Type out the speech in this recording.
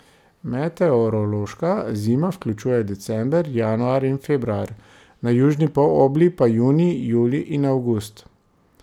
Meteorološka zima vključuje december, januar in februar, na južni polobli pa junij, julij in avgust.